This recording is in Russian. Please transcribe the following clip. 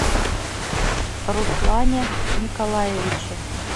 руслане николаевиче